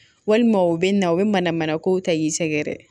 Walima u bɛ na u bɛ mana mana kow ta i sɛgɛrɛ